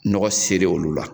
Nɔgɔ sɛri olu lla.